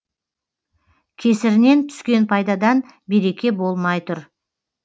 кесірінен түскен пайдадан береке болмай тұр